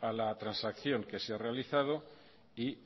a la transacción que se ha realizado y